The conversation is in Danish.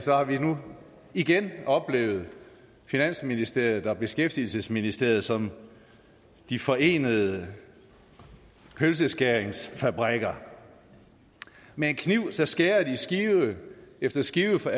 har vi nu igen oplevet finansministeriet og beskæftigelsesministeriet som de forenede pølseskæringsfabrikker med en kniv skærer de skive for